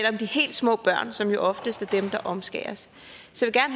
om de helt små børn som jo oftest er dem der omskæres så